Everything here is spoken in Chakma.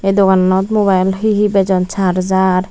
ye dogananot mobile he he bejon charger.